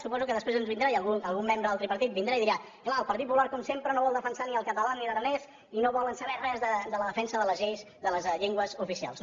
suposo que després ens vindrà i algun membre del tripartit vindrà i dirà clar el partit popular com sempre no vol defensar ni el català ni l’aranès i no volen saber res de la defensa de les lleis de les llengües oficials